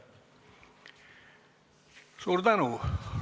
Suur tänu!